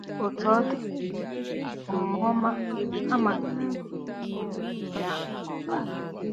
Otú ọ dị, omume ọma a manyere um ya n'ụba.